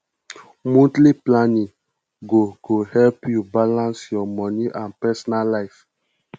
monthly planning go go help yu balance yur moni and personal life